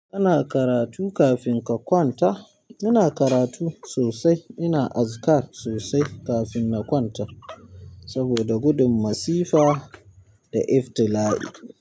Kana karatu kafin ka kwanta. Ina karatu sosai. Ina azkar sosai kafin na kwanta saboda gudun masifa da iftila'i.